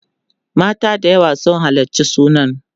mata da yawa sun halarci sunan